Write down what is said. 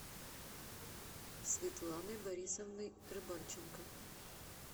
светланой борисовной рыбальченко